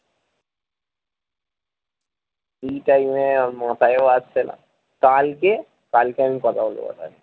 free time এ মাথায়ও আসছে না কালকে কালকে আমি কথা বলবো